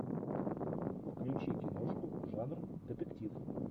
включи киношку жанр детектив